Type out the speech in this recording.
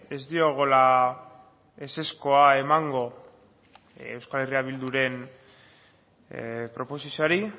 ez diogula ezezkoa emango euskal herria bilduren proposizioari